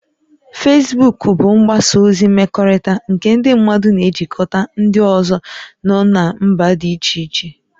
Fesbuk bụ mgbasa ozi mmekọrịta nke ndị mmadụ na-ejikọta ndị ọzọ nọ na mba dị iche iche